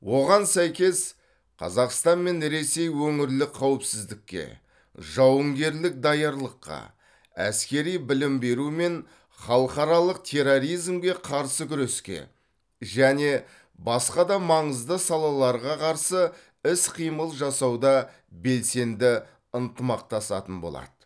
оған сәйкес қазақстан мен ресей өңірлік қауіпсіздікке жауынгерлік даярлыққа әскери білім беру мен халықаралық терроризмге қарсы күреске және басқа да маңызды салаларға қарсы іс қимыл жасауда белсенді ынтымақтасатын болады